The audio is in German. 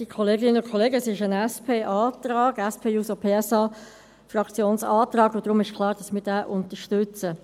Es ist ein Antrag der SP-JUSO-PSA-Fraktion, und deshalb ist es klar, dass wir diesen unterstützen.